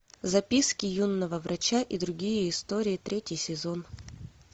записки юного врача и другие истории третий сезон